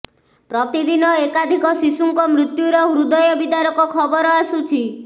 ପ୍ରତିଦିନି ଏକାଧିକ ଶିଶୁଙ୍କ ମୃତ୍ୟୁର ହୃଦୟ ବିଦାରକ ଖବର ଆସୁଛି